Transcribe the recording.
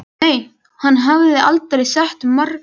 Nei, hann hafði aldrei sett markið hærra.